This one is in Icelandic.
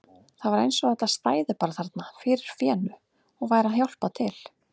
Það var eins og þetta stæði bara þarna fyrir fénu og væri að hjálpa til!